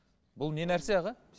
бұл не нәрсе аға